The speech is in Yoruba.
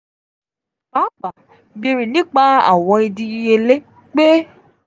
paapaa beere nipa awọn idiyele pẹ.